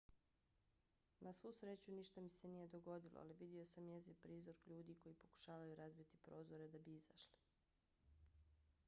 na svu sreću ništa mi se nije dogodilo ali vidio sam jeziv prizor ljudi koji pokušavaju razbiti prozore da bi izašli.